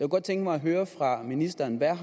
godt tænke mig at høre fra ministeren hvad